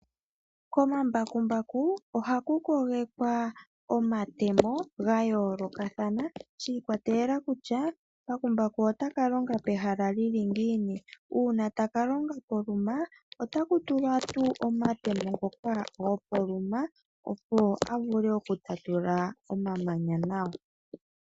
Komambakumbaku ohaku kogekwa omatemo ga yoolokathana shi ikwatelela kutya mbakumbaku otaka longa pehala lyili ngiini, uuna taka longa poluma otaku tulwa tuu omatemo ngoka gopoluma, opo a vule oku tatula omamanya nawa.